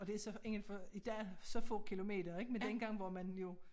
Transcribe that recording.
Og det er så indenfor i dag så få kilometer ik men dengang var man jo